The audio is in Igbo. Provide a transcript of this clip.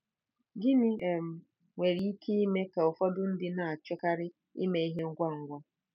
Gịnị um nwere ike ime ka ka ụfọdụ ndị na-achọkarị ime ihe ngwa ngwa?